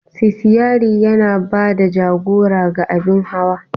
Sitiyari yana ba da jagora ga abin hawa.